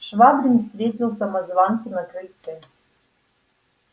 швабрин встретил самозванца на крыльце